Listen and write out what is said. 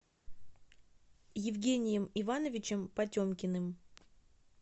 евгением ивановичем потемкиным